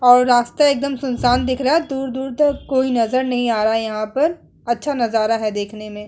और रास्ता एकदम सुनसान दिख रहा दूर-दूर तक कोई नजर नहीं आ रहा है यहां पर। अच्छा नजरा है देखने में।